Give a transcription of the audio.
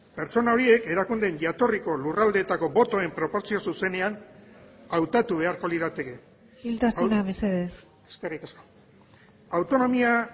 pertsona horiek erakundeen jatorriko lurraldeetako botoen proportzio zuzenean hautatu beharko lirateke isiltasuna mesedez eskerrik asko autonomia